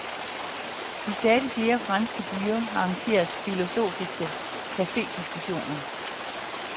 I stadig flere franske byer arrangeres filosofiske cafediskussioner.